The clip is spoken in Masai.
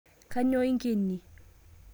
Kainyoo inkenie